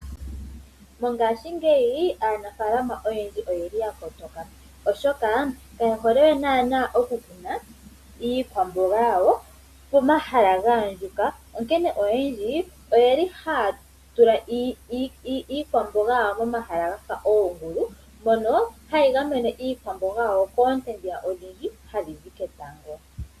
MoNamibia aanafaalama oyendji oya kotoka, oshoka kayehole we naana okukuna iikwamboga yawo pomahala ga andjuka onkene oyendji ohaya tula iikwamboga yawo momahala ga fa oongulu mono hayi gamene iikwamboga yawo koonte odhindji hadhi zi ketango.